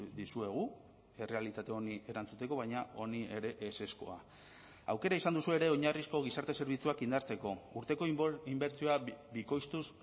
dizuegu errealitate honi erantzuteko baina honi ere ezezkoa aukera izan duzue ere oinarrizko gizarte zerbitzuak indartzeko urteko inbertsioa bikoiztuz